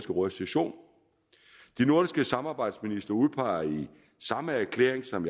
råds session de nordiske samarbejdsministre udpeger i samme erklæring som